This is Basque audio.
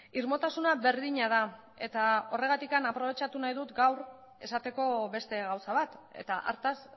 irmotasuna berdina da eta horregatik aprobetxatu nahi dut gaur esateko beste gauza bat eta hartaz